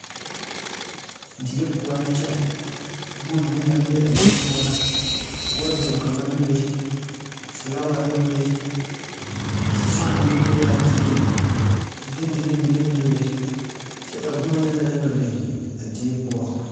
Die poɔ la kyɛ boma mine naŋ be a die poɔ la waduro kaŋa bebe filaaware bebe fan meŋ be laa dieŋ figtildigli mine meŋ bebe kyɛ ka boma yaga biŋ a die poɔ.